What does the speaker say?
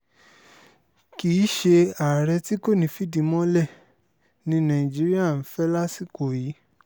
kì í ṣe àárẹ̀ tí kò ní í fìdí mọ́lẹ̀ ni nàìjíríà ń fẹ́ lásìkò yìí